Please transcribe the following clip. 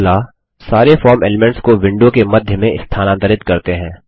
अगला सारे form elements को विंडो के मध्य में स्थानांतरित करते हैं